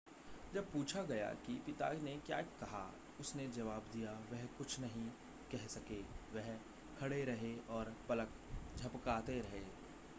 जब पूछा गया कि पिता ने क्या कहा उसने जवाब दिया वह कुछ नहीं कह सके वह खड़े रहे और पलक झपकाते रहे